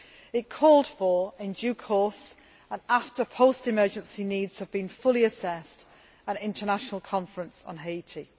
It called for, in due course and after post emergency needs have been fully assessed, an international conference on Haiti.